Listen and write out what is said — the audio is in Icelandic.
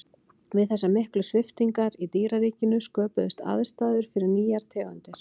við þessar miklu sviptingar í dýraríkinu sköpuðust aðstæður fyrir nýjar tegundir